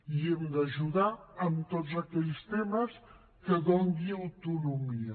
i hem d’ajudar en tots aquells temes que donin autonomia